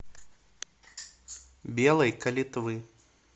белой калитвы